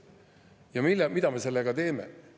Ja mida me sellega teeme?